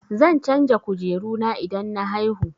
Zan canja kujeru na idan na haihu.